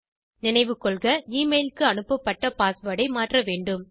நினைவு கொள்க எமெயில் க்கு அனுப்பப் பட்ட பாஸ்வேர்ட் ஐ மாற்ற வேண்டும்